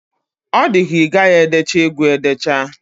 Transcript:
Ọ dika igaghi edecha egwu a edecha.